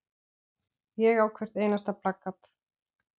Ég á hvert einasta plakat.